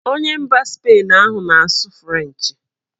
Onye mba Spain ahụ na-asụ frenchị